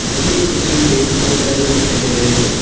मुझे इस तस्वीर में बहुत सारे लोग दिखाई दे रहे हैं।